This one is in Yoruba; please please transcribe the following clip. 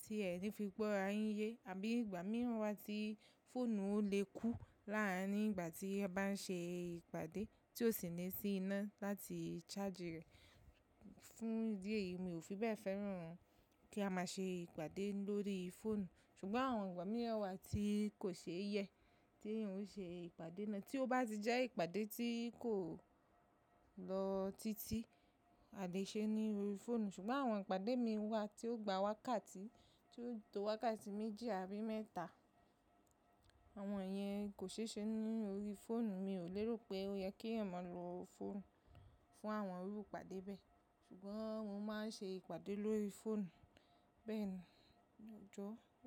tí ẹ̀ ní fi gbọ́ ara yín yé àbí ìgbà mìíràn wa tí fóònù o le kú láàárín ìgbà tí ẹ bá ń ṣe ìpàdé tí ó sì ní sí iná láti charge rẹ̀. Fún ìdí èyí, mi ò fi bẹ́ẹ̀ fẹ́ràn kí a máa ṣe ìpàdé lórí fóònù. Ṣùgbọ́n àwọn ìgbà mìíràn wa tí kò ṣe yẹ tí ẹ̀eyan yóò ṣe ìpàdé náà. Tí ó bá ti jẹ́ ìpàdé tí kò lọ títí, a lè ṣe é ní orí fóònù. Ṣùgbọ́n àwọn ìpàdé mi wà tí ó gba wákàtí, tí ó to wákàtí méjì àbí mẹ́ta, àwọn yẹn kò ṣe é ṣe ní orí fóònù. Mi ò lérò pé ó yẹ kí ẹ̀eyan maa lọ fóònù fún àwọn irú ìpàdé bẹ́ẹ̀. Ṣùgbọ́n mo máa ń ṣe ìpàdé lórí fóònù bẹ́ẹ̀ lọ́jọ́.